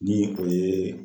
ni o yee